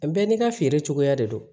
Bɛɛ n'i ka feere cogoya de don